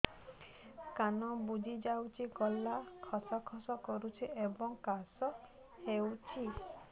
ନାକ ବୁଜି ଯାଉଛି ଗଳା ଖସ ଖସ କରୁଛି ଏବଂ କାଶ ହେଉଛି